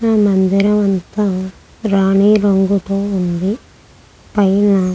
ఆ మందిరం అంతా రాణీరంగుతూ ఉంది పైన --